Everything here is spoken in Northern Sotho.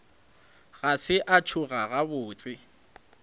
ga se a tsoga gabotse